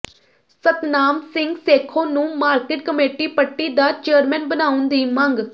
ਸਤਨਾਮ ਸਿੰਘ ਸੇਖੋਂ ਨੂੰ market committee Patti ਦਾ chairman ਬਣਾਉਣ ਦੀ ਮੰਗ